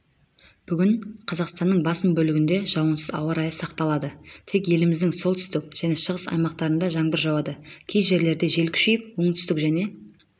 бүгін қазақстанның басым бөлігінде жауынсыз ауа-райы сақталады тек еліміздің солтүстік және шығыс аймақтарында жаңбыр жауады кей жерлерде жел күшейіп оңтүстік және